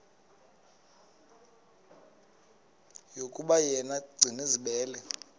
yokuba yena gcinizibele